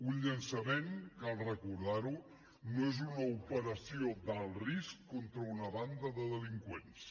un llançament cal recordar ho no és una operació d’alt risc contra una banda de delinqüents